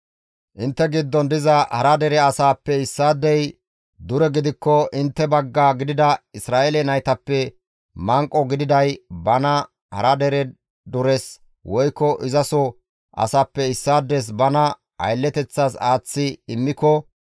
« ‹Intte giddon diza hara dere asaappe issaadey dure gidikko intte bagga gidida Isra7eele naytappe manqo gididay bana hara dere dures woykko izaso asaappe issaades bana aylleteththas aaththi immiko,